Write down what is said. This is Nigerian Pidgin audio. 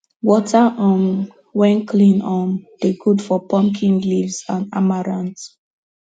water um wen clean um dey good for pumpkin leaves and amaranth